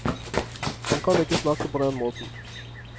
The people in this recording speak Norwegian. Han kan ikke snakke på den måten.